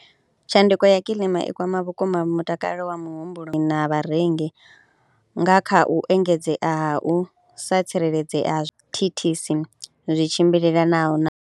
Tshanduko ya kilima i kwama vhukuma mutakalo wa muhumbulo na vharengi nga kha u engedzea hu sa tsireledzea ha zwithithisi zwi tshimbilelanaho na.